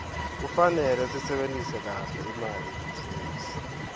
kufarele sisebentise kahle imali yelibhizinisi